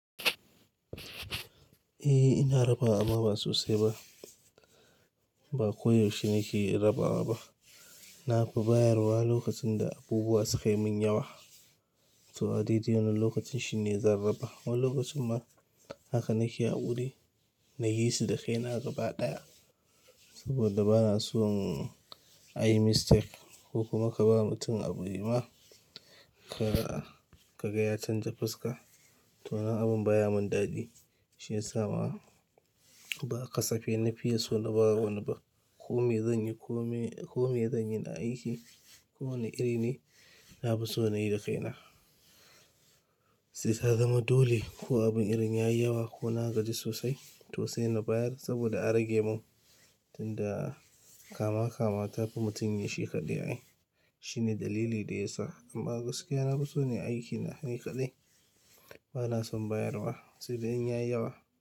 Eh, ina raba amma ba sosai ba. Ba koyaushe nake rabawa ba. Na fi bayarwa lokacin da abubuwa suka yi mun yawa to a daidai wanan lokacin shine zan raba. Wani lokacin ma haka nake haƙuri na yi su da kaina gaba ɗaya saboda ba na so a yi mistake ko kuma ka ba mutum abu ya yi ma ka, ka gaya canja fuska. Toh abun baya mun dadi. Shi ya sa ma ba kasafe na fiya so na ba wani ba. Ko me zan yi, ko me, ko me zan yi na aiki, ko wane iri ne, na fi so na yi da kaina. Sai ta zama dole ko abun irin ya yi yawa ko na gaji sosai to sai na bayar saboda a rage mun. Tun da kama kama ta fi mutum ya shi kaɗai. Shi ne dalili da ya sa amma gaskiya na fi son yi aiki ni kaɗai. Ba na son bayarwa sai dai in ya yi yawa.